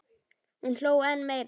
Hún hló enn meira.